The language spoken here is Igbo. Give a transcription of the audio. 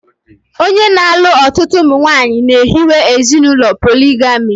Onye na-alụ ọtụtụ ụmụnwaanyị na-ehiwe ezinụlọ poligami